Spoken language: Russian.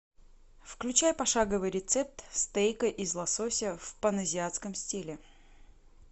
включай пошаговый рецепт стейка из лосося в паназиатском стиле